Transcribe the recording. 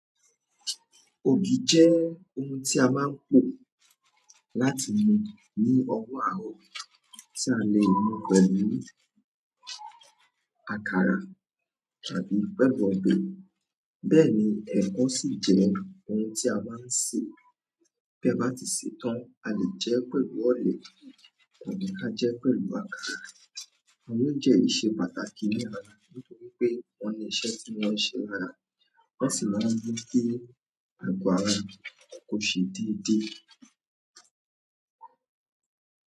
Ògì jẹ́ ohun tí a máa ń pò láti mu ní ọwó àárọ̀, tí a lè mu pẹ̀lú àkàrà tàbí pẹ̀lú ọbẹ̀. Bẹ́ẹ̀ ni ẹ̀kọ sí jẹ́ ohun tí a máa ń sè, bí ẹ bá ti ṣe tán, a lè jẹ pẹ̀lú ọ̀lẹ̀ tàbí ká jẹ pẹ̀lú àkàrà. Òunjẹ́ yìí ṣẹ́ pàtàkì ní ara, nítorí pé won ni iṣẹ́ tí wọ́n ṣe lára, wọ́n sì máa ń rí pé ago ara kò ṣe déédé.